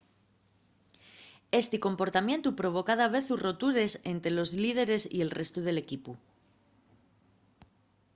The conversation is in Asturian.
esti comportamientu provoca davezu rotures ente los líderes y el restu del equipu